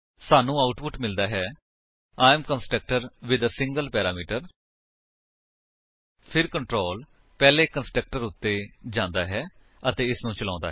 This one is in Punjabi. ਸਾਨੂੰ ਆਉਟਪੁਟ ਮਿਲਦਾ ਹੈ I am constructor with a single parameter ਫਿਰ ਕੰਟਰੋਲ ਪਹਿਲੇ ਕੰਸਟਰਕਟਰ ਉੱਤੇ ਜਾਂਦਾ ਹੈ ਅਤੇ ਇਸਨੂੰ ਚਲਾਉਂਦਾ ਹੈ